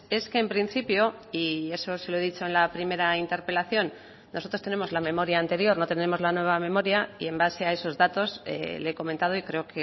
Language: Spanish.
es que en principio y eso se lo he dicho en la primera interpelación nosotros tenemos la memoria anterior no tenemos la nueva memoria y en base a esos datos le he comentado y creo